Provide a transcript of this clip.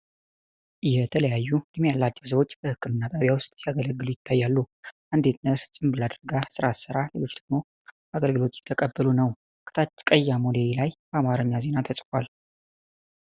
የተለያዩ ዕድሜ ያላቸው ሰዎች በሕክምና ጣቢያ ውስጥ ሲያገለግሉ ይታያሉ። አንዲት ነርስ ጭንብል አድርጋ ሥራ ስትሠራ፣ ሌሎች ደግሞ አገልግሎት እየተቀበሉ ነው። ከታች ቀይ አሞሌ ላይ በአማርኛ ዜና ተጽፏል።